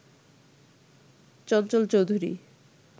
Chanchal Chowdhury